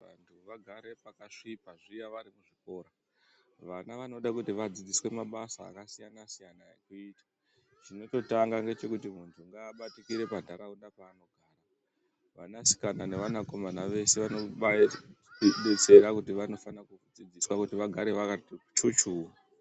Vantu vagare pakasvipa zviya varikuzvikora , vana vanoda kuti vadzidziswe mabasa akasiyana siyana ekuita , chinototanga ngechekuti muntu ngaabatikire panharaunda paanogara. Vanasikana nevanakomana vese vanobaidetsera kuti vanofane kudzidziswa kuti vagare vakati chuchu.